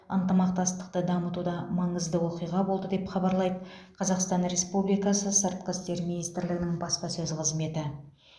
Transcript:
ынтымақтастықты дамытуда маңызды оқиға болды деп хабарлайды қазақстан республикасы сыртқы істер министрлігі баспасөз қызметі